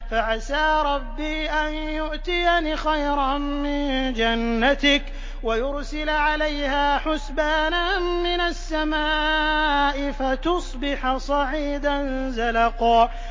فَعَسَىٰ رَبِّي أَن يُؤْتِيَنِ خَيْرًا مِّن جَنَّتِكَ وَيُرْسِلَ عَلَيْهَا حُسْبَانًا مِّنَ السَّمَاءِ فَتُصْبِحَ صَعِيدًا زَلَقًا